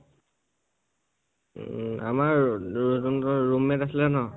আমাৰ ৰু room mate আছিলে ন